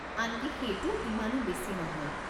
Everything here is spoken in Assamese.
আনকি সেইটো ইমানো বেছি নহয়।